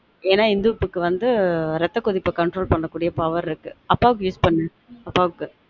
ஏன்னா இந்துப்புக்கு வந்து ரெத்த கொதிப்ப control பண்ண கூடிய power இருக்கு அப்பாக்கு use பண்ணு அப்பாவுக்கு